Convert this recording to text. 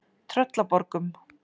Tröllaborgum